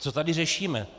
Co tady řešíme?